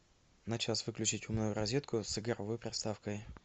на час выключить умную розетку с игровой приставкой